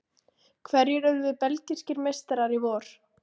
Hverjir urðu belgískir meistarar í vor?